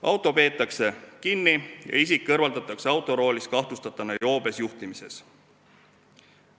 Auto peetakse kinni ja isik kõrvaldatakse autoroolist kahtlustatuna joobes juhtimises.